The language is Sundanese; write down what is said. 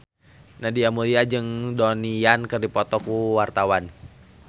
Nadia Mulya jeung Donnie Yan keur dipoto ku wartawan